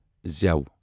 زٮ۪و